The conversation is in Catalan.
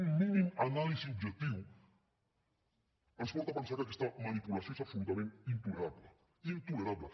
un mínim anàlisi objectiu ens porta a pensar que aquesta manipulació és absolutament intolerable intolerable